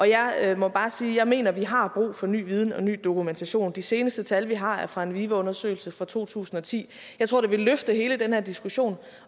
jeg må bare sige at jeg mener vi har brug for ny viden og ny dokumentation de seneste tal vi har er fra en vive undersøgelse fra to tusind og ti jeg tror det vil løfte hele den her diskussion